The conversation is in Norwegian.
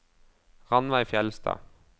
Ranveig Fjeldstad